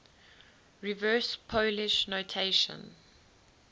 reverse polish notation